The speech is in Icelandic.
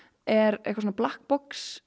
er eitthvað svona